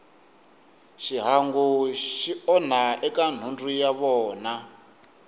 xihangu xi onha eka nhundzu ya vona